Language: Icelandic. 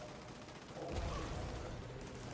Óhappið varð rétt fyrir klukkan sjö